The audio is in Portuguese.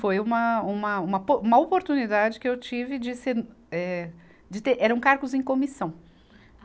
Foi uma, uma, uma po, uma oportunidade que eu tive de ser, eh, de ter eram cargos em comissão.